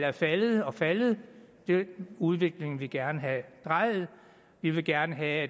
er faldet og faldet den udvikling vil vi gerne have drejet vi vil gerne have